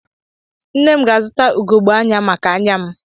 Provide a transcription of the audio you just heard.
Nne m ga-azụta ugogbe anya maka anya m